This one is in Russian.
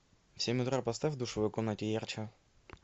в семь утра поставь в душевой комнате ярче